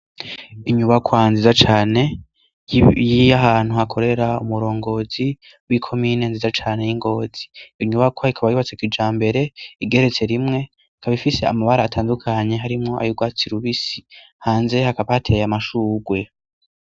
Inyubakwa nziza cane, y'ahantu hakorera umurongozi, w'ikomine nziza cane y'ingozi; inyubakwa ikaba yubatse kijambere igeretse rimwe, ikaba ifise amabara atandukanye harimwo ay’urwatsi rubisi hanze hakaba hateye amashurwe